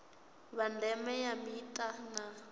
vha ndeme kha mita na